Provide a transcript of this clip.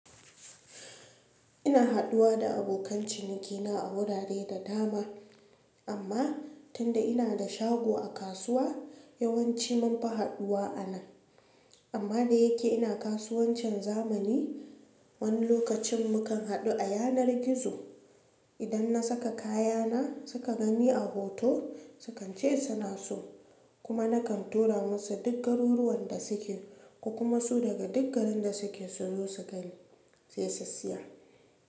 Ina haduwa da abokan cinikina a wurare da dama amma tunda ina da shago a kasuwa yawanci munfi haduwa a nan. Amma da yake ina kasuwancin zamani, wani lokacin mu kan hadu a yanar gizo. Idan na saka kayana suka gani a hoto sukan ce suna so kuma na kan tura musu duk garuruwan da suke ko kuma su daga duk garin da suke su zo su gani sai su siya.